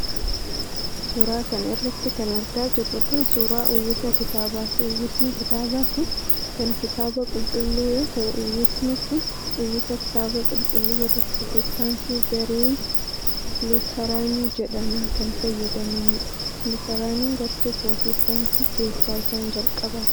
Suura kana irratti kan argaa jirru kun ,suura uwwisa kitaabaati. Uwwisni kitaabaa kun kan Kitaaba Qulqulluu yoo ta'u, uwwisni kun uwwisa Kitaaba Qulqulluu warri pirootestaantii gareen lutaraanii jedhaman kan fayyadamaniidha. Lutaraaniin ,gartuu pirootestaantii keessaa isaan jalqabaati.